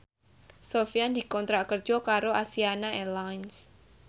Sofyan dikontrak kerja karo Asiana Airlines